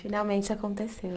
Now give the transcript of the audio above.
Finalmente aconteceu.